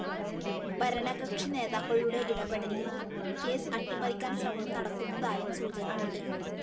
ഭരണകക്ഷി നേതാക്കളുടെ ഇടപ്പെടലില്‍ കേസ് അട്ടിമറിക്കാന്‍ ശ്രമം നടക്കുന്നതായും സൂചനയുണ്ട്